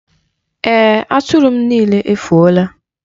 Ee, Atụrụ m niile efuola.